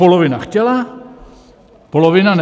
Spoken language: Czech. Polovina chtěla, polovina ne.